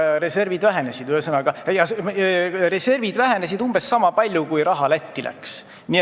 Reservid vähenesid umbes niisama palju, kui raha Lätti läks.